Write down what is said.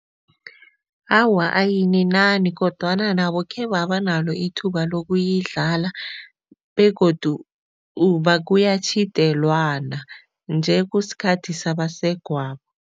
Awa, ayininani kodwana nabo khebaba nalo ithuba lokuyidlala begodu kuyatjhidelwana. Nje kusikhathi sabasegwabo.